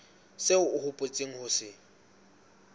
seo o hopotseng ho se